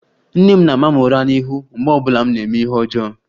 Nne m na-ama m ura n'ihu mgbe ọ bụla m na-eme ihe ọjọọ